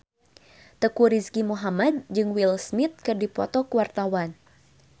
Teuku Rizky Muhammad jeung Will Smith keur dipoto ku wartawan